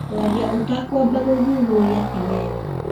Kwarĩa ũtakwamba gũthuthuria ti wega